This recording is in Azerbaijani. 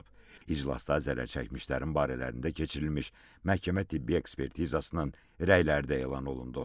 İclasda zərər çəkmişlərin barələrində keçirilmiş məhkəmə-tibbi ekspertizasının rəyləri də elan olundu.